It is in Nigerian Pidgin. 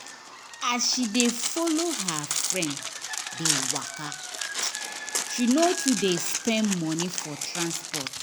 as she dey follow her friend dey waka she no too dey spend money for transport